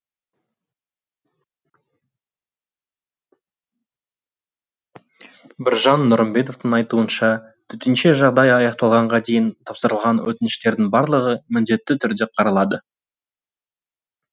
біржан нұрымбетовтың айтуынша төтенше жағдай аяқталғанға дейін тапсырылған өтініштердің барлығы міндетті түрде қаралады